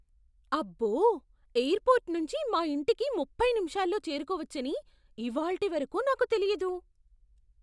అబ్బో! ఎయిర్పోర్ట్ నుంచి మా ఇంటికి ముప్పై నిమిషాల్లో చేరుకోవచ్చని ఇవాల్టి వరకు నాకు తెలియదు.